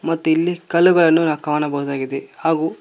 ಮತ್ತು ಇಲ್ಲಿ ಕಲ್ಲುಗಳನ್ನು ನಾ ಕಾಣಬಹುದಾಗಿದೆ ಹಾಗು--